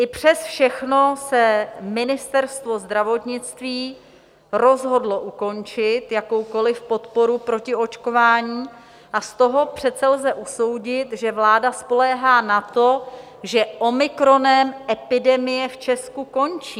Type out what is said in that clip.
I přes všechno se Ministerstvo zdravotnictví rozhodlo ukončit jakoukoli podporu pro očkování a z toho přece lze usoudit, že vláda spoléhá na to, že omikronem epidemie v Česku končí.